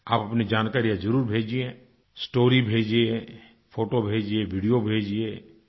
आप अपनी जानकारियाँ ज़रुर भेजिए स्टोरी भेजिए फोटो भेजिए वीडियो भेजिए